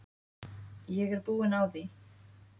Ég er búin á því.